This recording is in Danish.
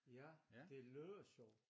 Ja det lyder sjovt